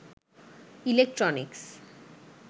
electronics